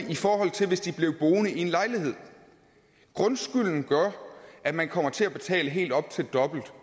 i forhold til hvis de blev boende i en lejlighed grundskylden gør at man kommer til at betale helt op til dobbelt